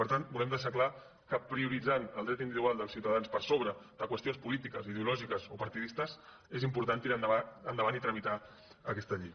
per tant volem deixar clar que prioritzant el dret individual dels ciutadans per sobre de qüestions polítiques ideològiques o partidistes és important tirar endavant i tramitar aquesta llei